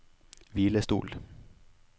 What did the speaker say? hvilestol